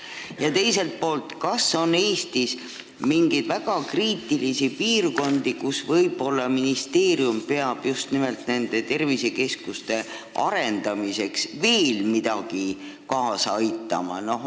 Ja teiseks: kas Eestis on mingeid väga kriitilisi piirkondi, kus ministeerium peaks nende tervisekeskuste arendamisele kaasa aitamiseks veel midagi tegema?